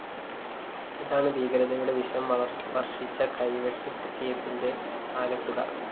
ഇതാണ് ഭീകരതയുടെ വിഷം വര്‍ഷിച്ച കൈവെട്ട് കേസിന്റെ കേസിന്റെ ആകെത്തുക